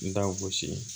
N da gosi